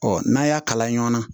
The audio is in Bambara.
Ɔ n'a y'a kalan ɲɔ na